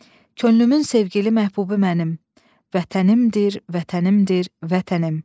Könlümün sevgili məhbubu mənim Vətənimdir, Vətənimdir, Vətənim.